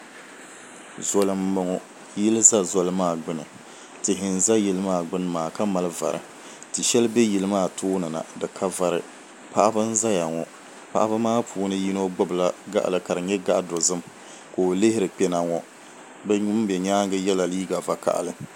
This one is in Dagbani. Zoli n boŋo yili ʒɛ zoli maa gbuni tihi n ʒɛ yili maa gbuni maa ka mali vari ti shɛli bɛ yili maa tooni na di ka vari paɣaba n ʒɛya ŋo paɣaba maa puuni yino gbubila gaɣali ka di nyɛ gaɣa dozim ka o lihiri kpɛna ŋo ŋun bɛ nyaangi yɛla liiga vakaɣali